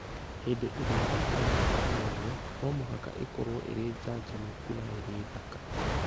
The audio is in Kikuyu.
Hĩndĩ ĩrĩa yakũra na ĩkamenywo, no mũhaka ĩkorũo ĩrĩ njanjamũku na ĩrĩ thaka.